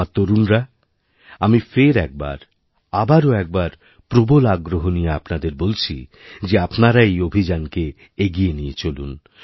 আমার তরুণরা আমি ফের একবারআবারও একবার প্রবল আগ্রহ নিয়ে আপনাদের বলছি যে আপনারা এই অভিযানকে এগিয়ে নিয়েচলুন